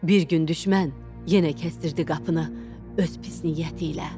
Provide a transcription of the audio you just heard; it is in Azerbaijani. Bir gün düşmən yenə kəsdirdi qapını öz pis niyyəti ilə.